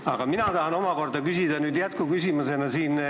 Aga mina tahan omakorda küsida jätkuküsimuse.